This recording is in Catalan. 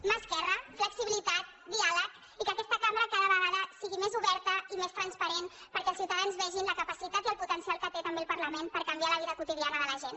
mà esquerra flexibilitat diàleg i que aquesta cambra cada vegada sigui més oberta i més transparent perquè els ciuta·dans vegin la capacitat i el potencial que té també el parlament per canviar la vida quotidiana de la gent